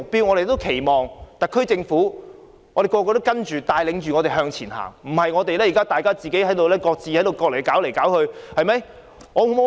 我們期望特區政府能帶領我們向前行，而不是要我們靠自己各自處理問題。